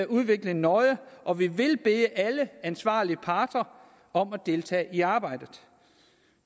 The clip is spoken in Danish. udviklingen nøje og vi vil bede alle ansvarlige parter om at deltage i arbejdet